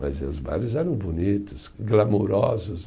Mas os bailes eram bonitos, glamorosos.